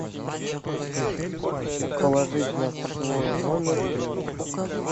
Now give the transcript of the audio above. положить на свой номер деньги